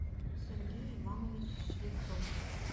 сергей иванович швецов